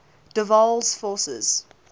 der waals forces